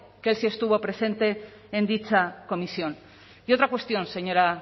que él sí estuvo presente en dicha comisión y otra cuestión señora